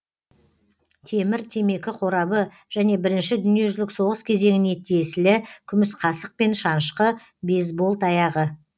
темір темекі қорабы және бірінші дүниежүзілік соғыс кезеңіне тиесілі күміс қасық пен шанышқы бейсбол таяғы